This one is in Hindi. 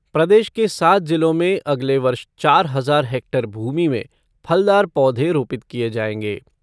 प्रदेश के सात जिलों में अगले वर्ष चार हज़ार हैक्टेयर भूमि में फलदार पौधे रोपित किए जाएंगे।